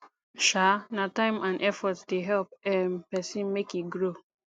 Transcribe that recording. um na time and effort dey help um pesin make e grow